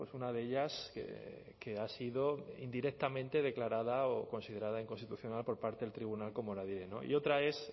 una de ellas que ha sido indirectamente declarada o considerada inconstitucional por parte del tribunal como y otra es